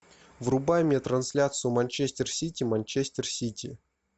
врубай мне трансляцию манчестер сити манчестер сити